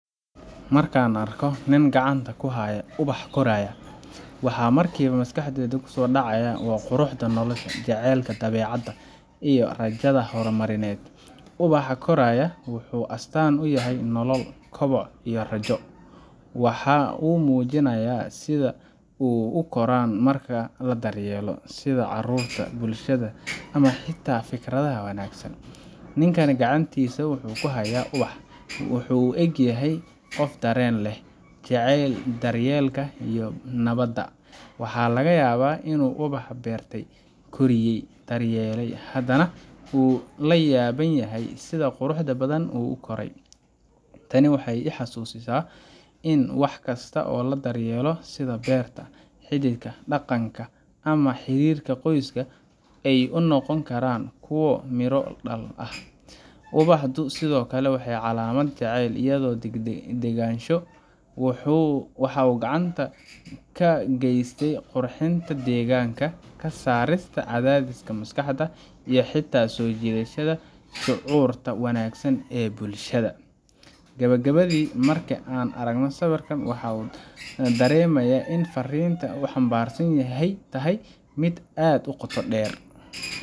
Marka aan arko nin gacanta ku haya ubax koraya, waxa markiiba maskaxdayda ku soo dhacaya quruxda nolosha, jacaylka dabeecadda, iyo rajada horumarineed. Ubax koraya wuxuu astaan u yahay nolol, koboc, iyo rajo. Waxa uu muujinayaa sida wax u koraan marka la daryeelo sida carruurta, bulshada, ama xitaa fikradaha wanaagsan. Ninku gacantiisa ku haya ubaxa, wuxuu u eg yahay qof dareen leh, jecel daryeelka iyo nabadda. Waxaa laga yaabaa inuu ubaxa beertay, koriyay, daryeelay, haddana uu la yaaban yahay sida quruxda badan ee uu u koray. Tani waxay i xusuusisaa in wax kasta oo la daryeelo, sida beerta, xididka dhaqanka, ama xiriirka qoyska, ay noqon karaan kuwo midho dhal ah. Ubaxu sidoo kale waa calaamad jacayl iyo degganaansho. Waxa uu gacan ka gaystaa qurxinta deegaanka, ka saarista cadaadiska maskaxda, iyo xitaa soo jiidashada shucuurta wanaagsan ee bulshadeena. Gabagabadii, marka aan arko sawirkan, waxaan dareemayaa in farriinta uu xambaarsan yahay tahay mid aad u qoto dheer.